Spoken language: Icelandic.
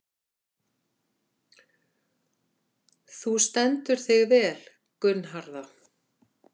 Þú stendur þig vel, Gunnharða!